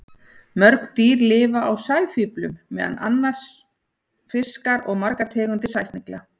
Mörg dýr lifa á sæfíflum, meðal annars fiskar og margar tegundir sæsnigla.